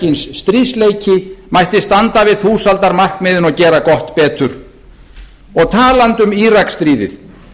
kyns stríðsleiki mætti standa við þúsaldarmarkmiðin og gera gott betur og talandi um íraksstríðið